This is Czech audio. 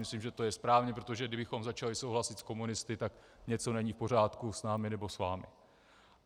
Myslím, že to je správně, protože kdybychom začali souhlasit s komunisty, tak něco není v pořádku s námi nebo s vámi.